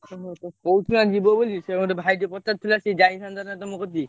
କହୁଥିଲା ଯିବ ବୋଲି ସେ ଗୋଟେ ଭାଇଟେ ପଚାରୁଥିଲା ସେ ଯାଇଥାନ୍ତା ନା ତମ କତିକି।